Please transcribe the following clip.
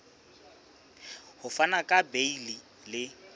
ho fana ka beile le